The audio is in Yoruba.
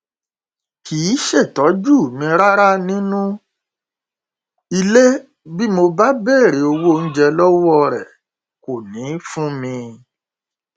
kì í ṣètọjú mi rárá nínú ilé bí mo bá béèrè owó oúnjẹ lọwọ rẹ kò ní í fún mi